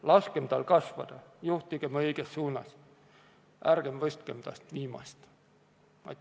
Laskem tal kasvada ja juhtigem teda õiges suunas, ärgem võtkem temast viimast!